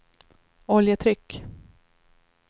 oljetryck